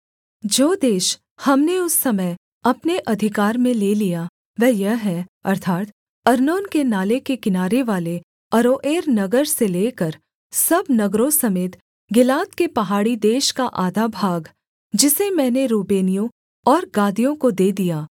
जो देश हमने उस समय अपने अधिकार में ले लिया वह यह है अर्थात् अर्नोन के नाले के किनारेवाले अरोएर नगर से लेकर सब नगरों समेत गिलाद के पहाड़ी देश का आधा भाग जिसे मैंने रूबेनियों और गादियों को दे दिया